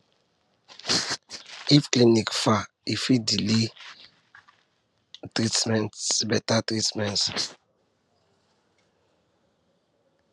if clinic far e fit delay better treatment better treatment